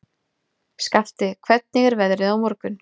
Skafti, hvernig er veðrið á morgun?